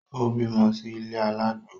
Ó bímọ sí ilé alágbo